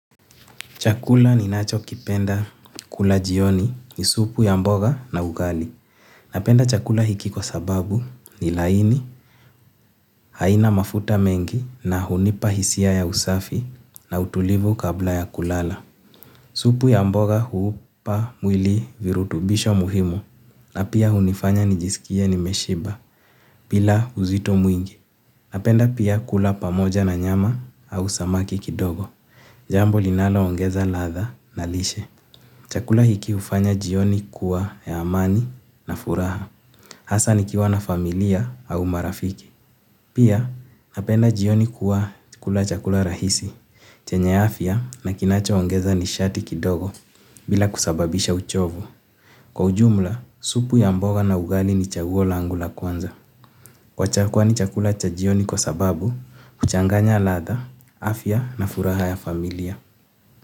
Chakula ni nachokipenda kula jioni ni supu ya mboga na ugali. Napenda chakula hiki kwa sababu ni laini haina mafuta mengi na hunipa hisia ya usafi na utulivu kabla ya kulala. Supu ya mboga huupa mwili virutubisho muhimu na pia hunifanya nijisikie nimeshiba bila uzito mwingi. Napenda pia kula pamoja na nyama au samaki kidogo. Jambo linaloongeza ladha na lishe. Chakula hiki hufanya jioni kuwa ya amani na furaha. Hasa nikiwa na familia au marafiki. Pia napenda jioni kuwa kula chakula rahisi. Chenye afya na kinachoongeza nishati kidogo bila kusababisha uchovu. Kwa ujumla, supu ya mboga na ugali ni chaguo langu la kwanza. Kwani chakula cha jioni kwa sababu, huchanganya ladha, afya na furaha ya familia.